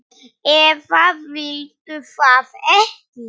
eða viltu það ekki?